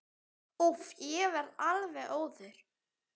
Úff, ég verð alveg óður.